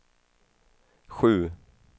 sju